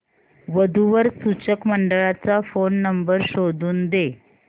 वधू वर सूचक मंडळाचा फोन नंबर शोधून दे